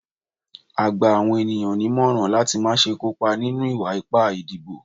a gba awọn eniyan nimọrán lati ma ṣe kó pa ninu iwa-ipa idibo.